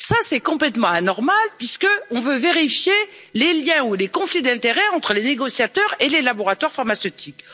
Cela est complètement anormal puisque nous voulons vérifier les liens ou les conflits d'intérêts entre les négociateurs et les laboratoires pharmaceutiques.